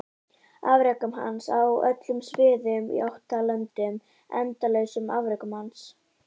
Afrekum hans á öllum sviðum í ótal löndum endalausum afrekum hans?